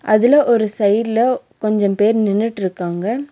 அதுல ஒரு சைடுல கொஞ்சம் பேர் நின்னுட்டுருக்காங்க.